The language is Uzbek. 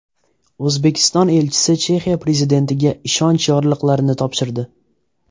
O‘zbekiston elchisi Chexiya prezidentiga ishonch yorliqlarini topshirdi.